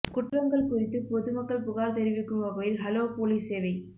குற்றங்கள் குறித்து பொதுமக்கள் புகாா் தெரிவிக்கும் வகையில் ஹலோ போலீஸ் சேவை